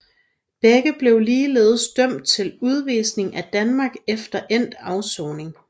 Begge blev ligeledes dømt til udvisning til Danmark efter endt afsoning